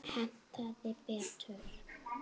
Hentaði betur.